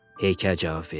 Heykəl cavab verdi.